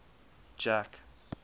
jack